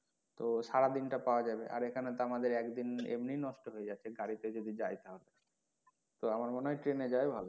তো সারা দিন টা পাওয়া যাবে আর এখানে তো আমাদের একদিন এমনি নষ্ট হয়ে যাচ্ছে গাড়ি তে যদি যাই তাহলে তো আমার মনে হয় train এ যাওয়াই ভালো।